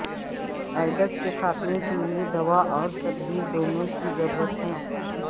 AIDS کے خاتمے کے لئے دوا اور تدبیر دونوں کی ضرورت ہے